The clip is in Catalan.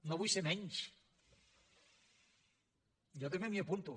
no vull ser menys jo també m’hi apunto